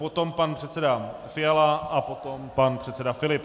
Potom pan předseda Fiala a potom pan předseda Filip.